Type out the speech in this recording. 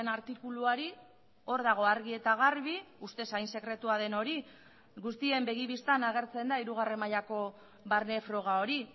artikuluari hor dago argi eta garbi ustez hain sekretua den hori guztien begi bistan agertzen da hirugarren mailako barne froga hori